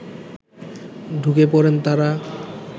ঢুকে পড়েন তারা